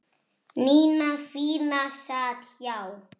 Nína fína sat hjá